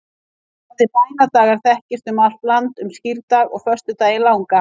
Orðið bænadagar þekkist um allt land um skírdag og föstudaginn langa.